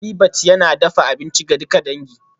Habitat yana dafa abinci ga duka dangi